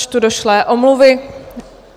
Načtu došlé omluvy.